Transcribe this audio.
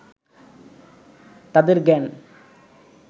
তাঁদের জ্ঞান